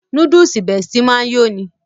Núdúùsù Bestie máa ń yó'ni